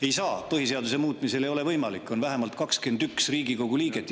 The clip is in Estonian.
Ei saa teha, põhiseaduse muutmisel ei ole see võimalik, on vaja vähemalt 21 Riigikogu liiget.